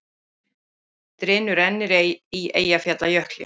Drynur enn í Eyjafjallajökli